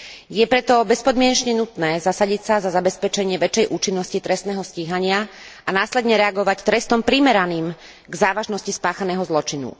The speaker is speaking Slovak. Je preto bezpodmienečne nutné zasadiť sa za zabezpečenie väčšej účinnosti trestného stíhania a následne reagovať trestom primeraným k závažnosti spáchaného zločinu.